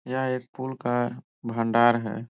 यहाँ एक पुल का भण्डार हैं।